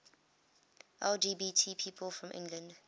lgbt people from england